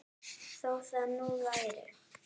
Þó það nú væri.